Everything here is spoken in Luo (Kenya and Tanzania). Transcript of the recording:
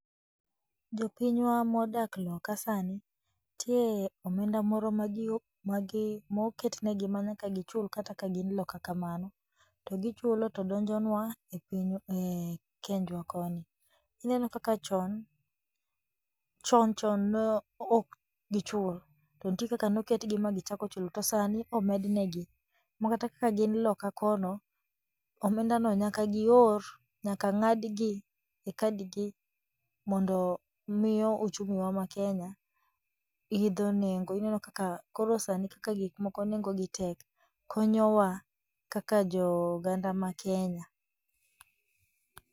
Jopinywa modak loka sani, nitie omenda moro ma gi magi moketnegi ma nyaka gichul kata ka gin loka kamano, to gichulo to donjonwa e pinywa e kenjwa koni, ineno kaka chon, chon chon ne okgichul, to nitie kaka noketgi ma gichakochulo to sani omednegi, makata kaka gin loka kono, omendano nyaka gior nyaka ng'adgi e kadi gi, mondo miyo uchumi wa ma kenya idho nengo ineno kaka koro sani kaka gikmoko nengo gi tek konyowa kaka jo oganda ma kenya.